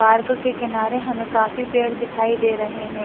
Park के किनारे हमें काफी पेड़ दिखाई दे रहे हैं।